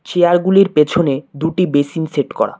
Chair -গুলির পেছনে দুটি বেসিন সেট করা।